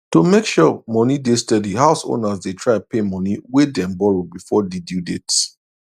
to make sure money dey steady house owners dey try pay money way dem borrow before di due date